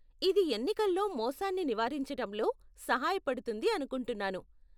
ఇది ఎన్నికల్లో మోసాన్ని నివారించటంలో సహాయపడుతుంది అనుకుంటున్నాను.